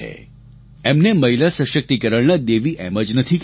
એમને મહિલા સશક્તિકરણના દેવી એમ જ નથી કહેવાયા